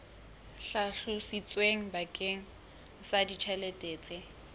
hlalositsweng bakeng sa ditjhelete tse